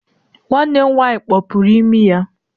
Nwanne m nwaanyị kpọpụrụ imi ya